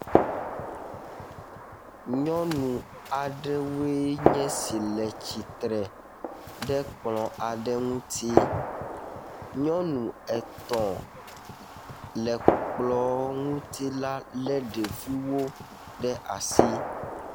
Nyɔnu aɖewoe nye si le tsitre ɖe kplɔ aɖe ŋuti. Nyɔnu etɔ̃ le kplɔ ŋuti la le ɖeviwo ɖe asi.